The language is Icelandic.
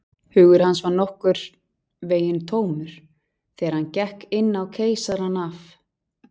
Hugur hans var nokkurn veginn tómur, þegar hann gekk inn á Keisarann af